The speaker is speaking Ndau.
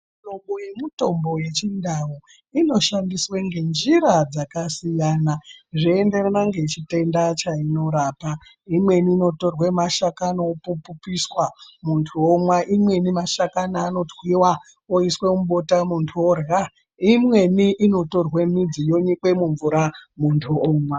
Mihlobo yemitombo yechindau inoshandiswe ngenjira dzakasiyana, zvoenderana ngechitenda cheinorapa, imweni inotorwe mashakani opupiswa munthu omwa, imweni mashakani anotwiwa oiswe mubota muntu orhya, imweni inotorwe midzi yonyikwa mumvura munthu omwa.